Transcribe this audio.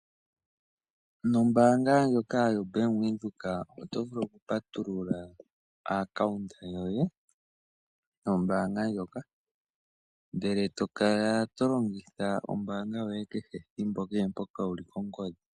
Nombanga ndjoka yoBank Windhoek oto vulu oku patulula account yoye nombanga ndjoka, ndele to kala to longitha ombanga yoye kehe thimbo kee mpoka wuli kongodhi.